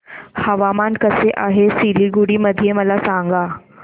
हवामान कसे आहे सिलीगुडी मध्ये मला सांगा